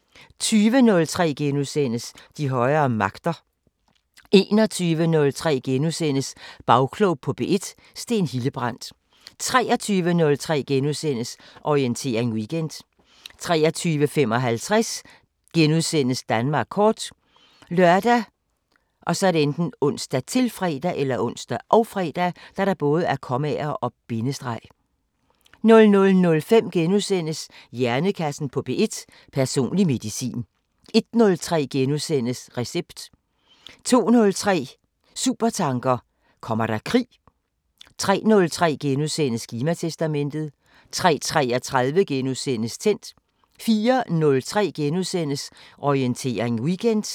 20:03: De højere magter * 21:03: Bagklog på P1: Steen Hildebrandt * 23:03: Orientering Weekend * 23:55: Danmark kort *( lør, ons, -fre) 00:05: Hjernekassen på P1: Personlig medicin * 01:03: Recept * 02:03: Supertanker: Kommer der krig? 03:03: Klimatestamentet * 03:33: Tændt * 04:03: Orientering Weekend *